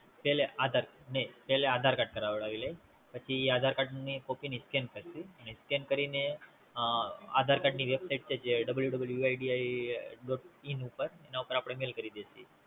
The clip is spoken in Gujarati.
પછી Site પર Mail કરવુ